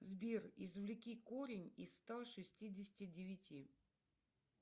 сбер извлеки корень из ста шестидесяти девяти